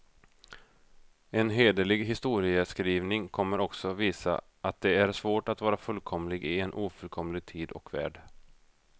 En hederlig historieskrivning kommer också visa, att det är svårt att vara fullkomlig i en ofullkomlig tid och värld.